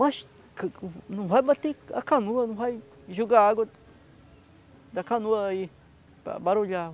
Mas não vai bater a canoa, não vai joagar a água da canoa aí para barulhar.